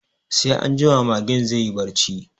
Sai anjima magen zai yi barci